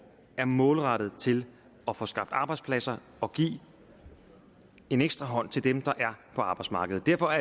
er målrettet til at få skabt arbejdspladser og give en ekstra hånd til dem der er på arbejdsmarkedet derfor